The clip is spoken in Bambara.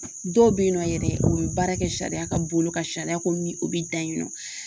Dɔw be yen nɔ yɛrɛ , u be baara kɛ sariya ka bolo kan sariya ko min o be dan yen nɔ.